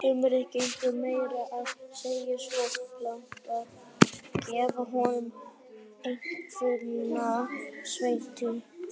Sumir gengu meira að segja svo langt að gefa honum einkunnina sérvitringsleg þurrpumpa.